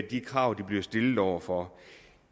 de krav de bliver stillet over for